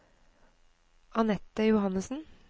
Annette Johannesen